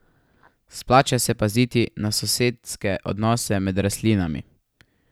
Splača se paziti na sosedske odnose med rastlinami.